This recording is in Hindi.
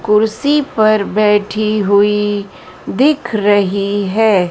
कुर्सी पर बैठी हुई दिख रह रही है।